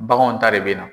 Baganw ta de be na